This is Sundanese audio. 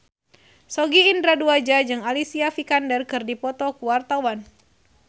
Sogi Indra Duaja jeung Alicia Vikander keur dipoto ku wartawan